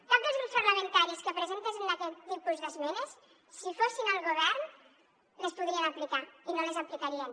cap dels grups parlamentaris que presenten aquest tipus d’esmenes si fossin al govern les podrien aplicar i no les aplicarien